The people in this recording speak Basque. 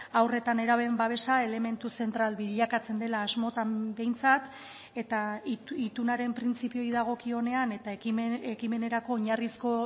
haur eta nerabeen babesa elementu zentral bilakatzen dela asmotan behintzat eta itunaren printzipioei dagokionean eta ekimenerako oinarrizko